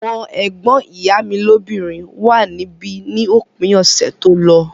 Àwọn ẹ̀gbọ́n ìyá mi lóbìnrin wà níbí ní òpin ọ̀sẹ̀ tó lọ